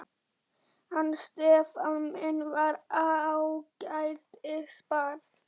Hann Stefán minn var ágætis barn.